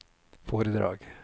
foredrag